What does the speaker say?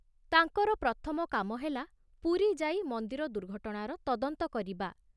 ତାଙ୍କର ପ୍ରଥମ କାମ ହେଲା ପୁରୀ ଯାଇ ମନ୍ଦିର ଦୁର୍ଘଟଣାର ତଦନ୍ତ କରିବା।